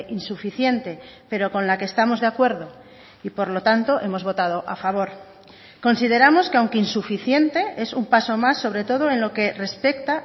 insuficiente pero con la que estamos de acuerdo y por lo tanto hemos votado a favor consideramos que aunque insuficiente es un paso más sobre todo en lo que respecta